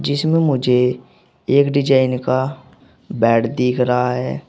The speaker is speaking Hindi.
इसमें मुझे एक डिजाइन का बेड दिख रहा है।